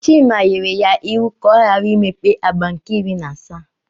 Chima nyere ya iwu ka ọ ghara imepe agba nke iri na asaa.